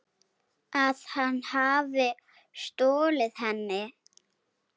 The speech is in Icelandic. Að hann hafi stolið henni?